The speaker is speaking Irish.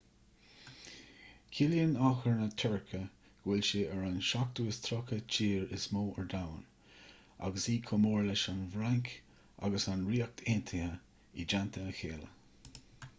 ciallaíonn achar na tuirce go bhfuil sé ar an 37ú tír is mó ar domhan agus í chomh mór leis an bhfrainc agus an ríocht aontaithe i dteannta a chéile